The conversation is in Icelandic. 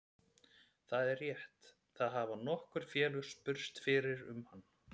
Það er rétt, það hafa nokkur félög spurst fyrir um hann.